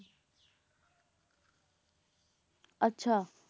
ਅੱਛਾ